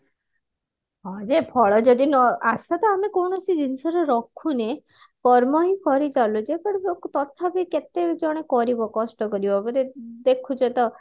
ହଁ ଯେ ଫଳ ଯଦି ନ ଆଶା ତ ଆମେ କୌଣସି ଜିନିଷ ରେ ରଖୁନେ କର୍ମ ହିଁ କରିଚାଲୁଛେ but ତଥାପି କେତେ ଜଣେ କରିବ କଷ୍ଟ କରିବ ଏବେ ଦେଖୁଛ ତ